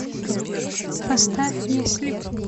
поставь если